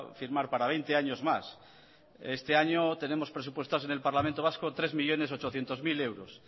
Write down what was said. firmar para veinte años más este año tenemos presupuestados en el parlamento vasco tres millónes ochocientos mil euros